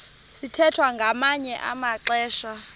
sithwethwa ngamanye amaxesha